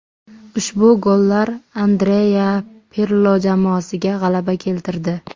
Ushbu gollar Andrea Pirlo jamoasiga g‘alaba keltirdi.